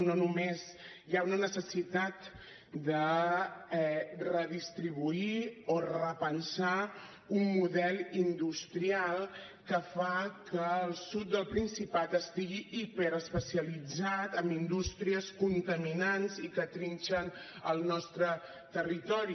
no només hi ha una necessitat de redistribuir o repensar un model industrial que fa que el sud del principat estigui hiperespecialitzat en indústries contaminants i que trinxen el nostre territori